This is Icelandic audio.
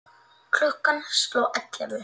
Klukkan sló ellefu.